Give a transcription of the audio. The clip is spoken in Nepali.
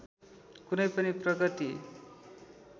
कुनै पनि प्रगति